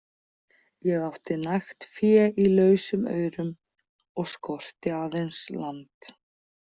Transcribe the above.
Ég átti nægt fé í lausum aurum og skorti aðeins land.